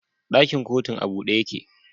Dakin kotun a bude yake